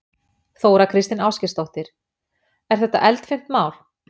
Þóra Kristín Ásgeirsdóttir: Er þetta eldfimt mál?